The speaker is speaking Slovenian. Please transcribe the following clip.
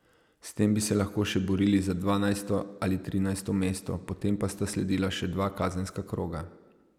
S tem bi se lahko še borili za dvanajsto ali trinajsto mesto, potem pa sta sledila še dva kazenska kroga.